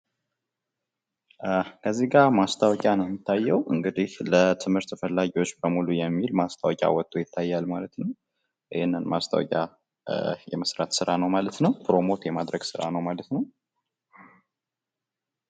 እዚጋ ማስታወቂያ ነው የሚታየው ፤ ለትምህርት ፈላጊዎች በሙሉ የሚል ማስታወቂያ ወቶ ይታያል ማለት ነው ፤ ይህን የማስታወቂያ ስራ የመስራት ስራ ነው ማለት ነው።